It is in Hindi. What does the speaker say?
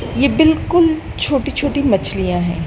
ये बिल्कुल छोटी छोटी मछलियां है।